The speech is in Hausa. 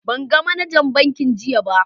ban gan managan bankin jiya ba.